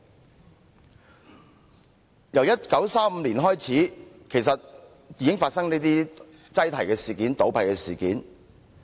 其實自1935年開始，已發生過這些擠提和倒閉事件。